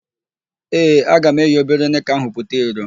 Ee, aga m eyi obere nịka ahụ pụta iro.